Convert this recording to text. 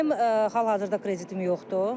Mənim hal-hazırda kreditim yoxdur.